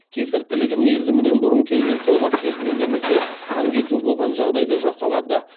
кесір тілігі мерзімінен бұрын келген толғақ кезінде немесе қан кету болған жағдайда жасалады